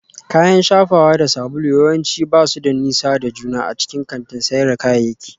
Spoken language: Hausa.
Kayan shafawa da sabulu yawanci ba su da nisa da juna a cikin kantin sayar da kayayyaki